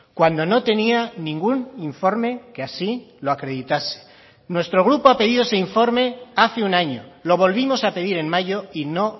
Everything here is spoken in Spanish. cuando no tenía ningún informe que así lo acreditase nuestro grupo ha pedido ese informe hace un año lo volvimos a pedir en mayo y no